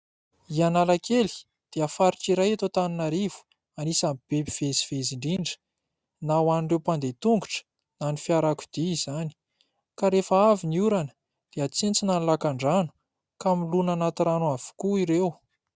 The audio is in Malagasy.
I Analakely dia faritra iray eto Antananarivo anisan'ny be mpivezivezy indrindra na ho an'ireo mpandeha tongotra na fiarakodia izany ka rehefa avy ny orona dia tsentsina ny lakandrano ka milona anaty rano avokoa ireo.